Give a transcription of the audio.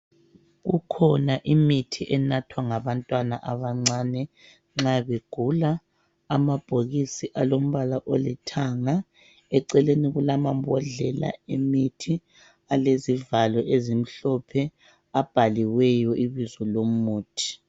Kukhona imithi enathwa ngabantwana abancane nxa begula. Amabhokisi alombala olithanga, eceleni kulamambodlela emithi alezivalo ezimhlophe, abhaliweyo ibizo lomuthi.